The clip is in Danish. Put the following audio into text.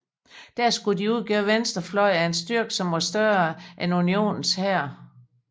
Der skulle de udgøre venstre fløj af en styrke som var større end unionens hær